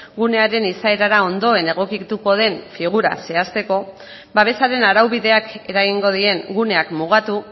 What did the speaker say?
gunearen izaerara ondoen egokituko den figura zehazteko babesaren araubideak eragingo dien guneak mugatu